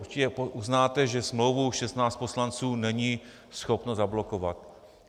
Určitě uznáte, že smlouvu 16 poslanců není schopno zablokovat.